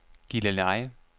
Gilleleje